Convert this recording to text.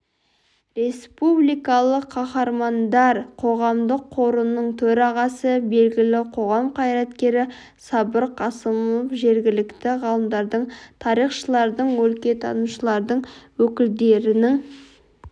республикалық қахармандар қоғамдық қорының төрағасы белгілі қоғам қайраткері сабыр қасымов жергілікті ғалымдардың тарихшылардың өлкетанушылардың өкілдерінің